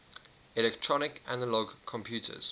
electronic analog computers